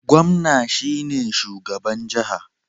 Gomna shine shugaban jaha